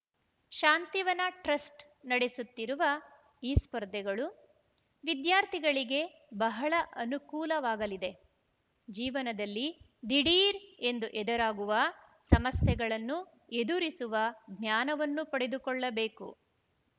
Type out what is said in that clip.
Shantivan trust ನಡೆಸುತ್ತಿರುವ ಈ ಸ್ಪರ್ಧೆಗಳು ವಿದ್ಯಾರ್ಥಿಗಳಿಗೆ ಬಹಳ ಅನುಕೂಲವಾಗಲಿದೆ ಜೀವನದಲ್ಲಿ ದಿಢೀರ್‌ ಎಂದು ಎದುರಾಗುವ ಸಮಸ್ಯೆಗಳನ್ನು ಎದುರಿಸುವ ಜ್ಞಾನವನ್ನು ಪಡೆದುಕೊಳ್ಳಬೇಕು